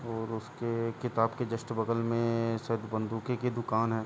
और उसके किताब के जस्ट बगल में शायद बंदूके की दुकान है।